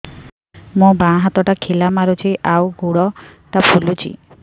ମୋ ବାଆଁ ହାତଟା ଖିଲା ମାରୁଚି ଆଉ ଗୁଡ଼ ଟା ଫୁଲୁଚି